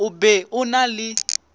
o be o na le